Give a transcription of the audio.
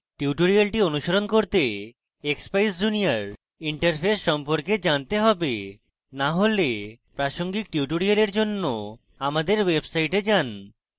tutorial অনুসরণ করতে expeyes junior interface সম্পর্কে জানতে হবে to হলে প্রাসঙ্গিক tutorial জন্য আমাদের website যান